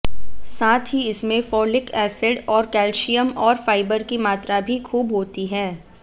साथ ही इसमें फोलिक एसिड और कैल्शियम और फाइबर की मात्रा भी खूब होती है